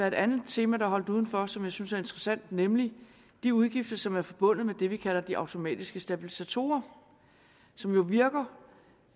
et andet tema der er holdt udenfor som jeg synes er interessant nemlig de udgifter som er forbundet med det vi kalder de automatiske stabilisatorer som jo virker